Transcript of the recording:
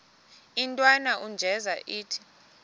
intwana unjeza ithi